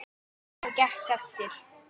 Sem gekk eftir.